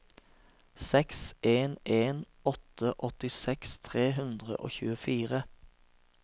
seks en en åtte åttiseks tre hundre og tjuefire